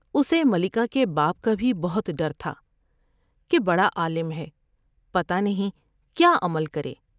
اسے ملکہ کے باپ کا بھی بہت ڈرتھا کہ بڑا عالم ہے پتہ نہیں کیا عمل کرے ۔